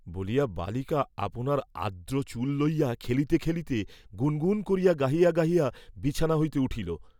বলিয়া বালিকা আপনার আর্দ্র চুল লইয়া খেলিতে খেলিতে গুণ গুণ করিয়া গাহিয়া গাহিয়া, বিছানা হইতে উঠিল।